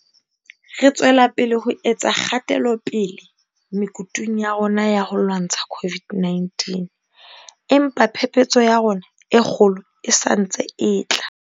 Re tswela pele ho etsa kgatelopele mekutung ya rona ya ho lwantsha COVID 19, empa phephetso ya rona e kgolo e sa ntse e tla.